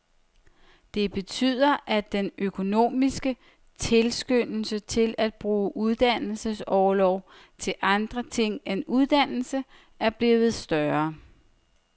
Det betyder, at den økonomiske tilskyndelse til at bruge uddannelsesorloven til andre ting end uddannelse, er blevet større.